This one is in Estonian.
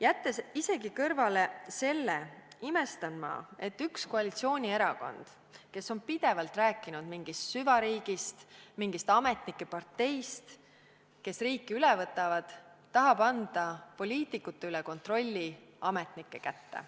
Jättes isegi kõrvale selle, imestan ma, et üks koalitsioonierakond, kes on pidevalt rääkinud mingist süvariigist, mingist ametnike parteist, kes riiki üle võtavad, tahab anda kontrolli poliitikute üle ametnike kätte.